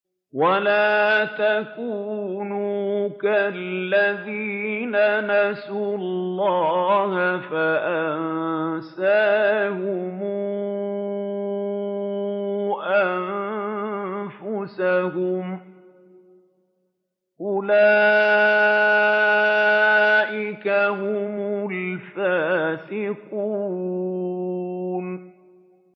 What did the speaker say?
وَلَا تَكُونُوا كَالَّذِينَ نَسُوا اللَّهَ فَأَنسَاهُمْ أَنفُسَهُمْ ۚ أُولَٰئِكَ هُمُ الْفَاسِقُونَ